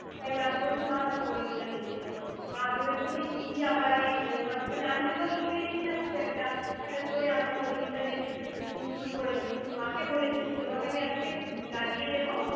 আমি মাকে বলেছি, মা আমি পরিনীতা দেখছিলাম। মা ভেবেছে যে কী আবার এই cinema, মানে আমি তো ছবি দেখি না, খুব একটা। হঠাৎ করে আমি পরিমিতা দেখতে হম শুরু করেছি। মাকে বলেছি যে, তোমাকে আমি আজকে লাগিয়ে দেব।